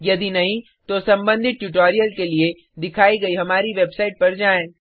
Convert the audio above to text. यदि नहीं तो संबंधित ट्यूटोरियल के लिए दिखाई गई हमारी वेबसाइट पर जाएँ